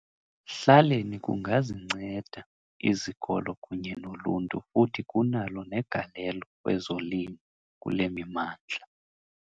hlaleni kungazinceda izikolo kunye noluntu futhi kunalo negalelo kwezolimo kule mimandla.